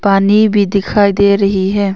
पानी भी दिखाई दे रही है।